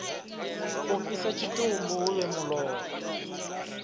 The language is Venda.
u fhisa tshitumbu huvhe mulora